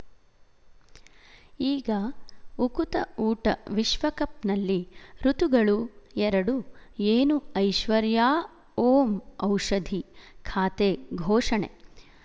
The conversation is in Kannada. ಈಗ ಉಕುತ ಊಟ ವಿಶ್ವಕಪ್‌ನಲ್ಲಿ ಋತುಗಳು ಎರಡು ಏನು ಐಶ್ವರ್ಯಾ ಓಂ ಔಷಧಿ ಖಾತೆ ಘೋಷಣೆ